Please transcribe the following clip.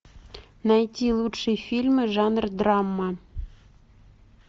найти лучшие фильмы жанра драма